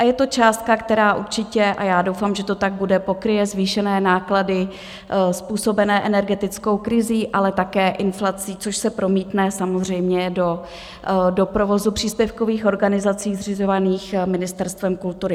A je to částka, která určitě - a já doufám, že to tak bude - pokryje zvýšené náklady způsobené energetickou krizí, ale také inflací, což se promítne samozřejmě do provozu příspěvkových organizací zřizovaných Ministerstvem kultury.